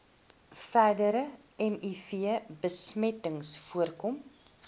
verdere mivbesmetting voorkom